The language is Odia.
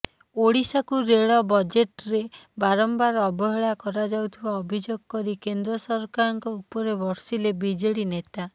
ଓଡିଶାକୁ ରେଳ ବଜେଟ୍ରେ ବାରମ୍ବାର ଅବହେଳା କରାଯାଉଥିବା ଅଭିଯୋଗ କରି କେନ୍ଦ୍ର ସରକାରଙ୍କ ଉପରେ ବର୍ଷିଲେ ବିଜେଡି ନେତା